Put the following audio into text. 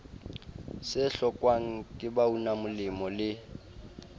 se hlokwang ke baunamolemo le